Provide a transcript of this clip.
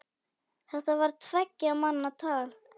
Þetta var tveggja manna tal.